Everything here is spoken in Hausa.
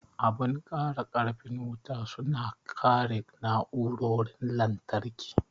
Abun kara karfin wuta su na kare na'urorin lantarki.